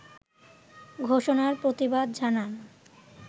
ঘোষণার প্রতিবাদ জানান